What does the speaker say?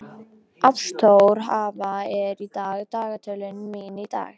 Ástþóra, hvað er í dagatalinu mínu í dag?